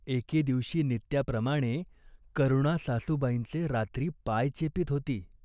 एके दिवशी नित्याप्रमाणे, करुणा सासूबाईंचे रात्री पाय चेपीत होती.